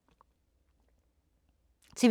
TV 2